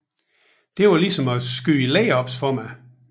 Det var ligesom at skyde layups for mig